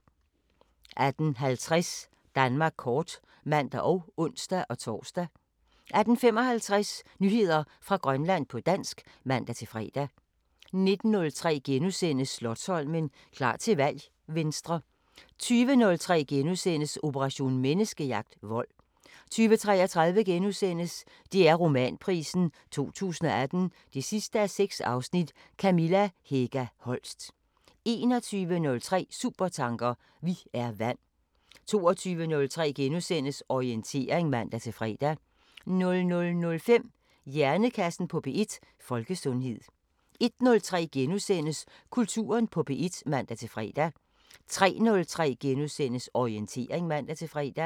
18:50: Danmark kort (man og ons-tor) 18:55: Nyheder fra Grønland på dansk (man-fre) 19:03: Slotsholmen – klar til valg: Venstre * 20:03: Operation Menneskejagt: Vold * 20:33: DR Romanprisen 2018 6:6 – Kamilla Hega Holst * 21:03: Supertanker: Vi er vand 22:03: Orientering *(man-fre) 00:05: Hjernekassen på P1: Folkesundhed 01:03: Kulturen på P1 *(man-fre) 03:03: Orientering *(man-fre)